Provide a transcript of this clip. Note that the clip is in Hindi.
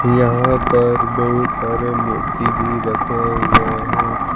यहां पर बहुत सारे मूर्ति भी रखे हुए हैं।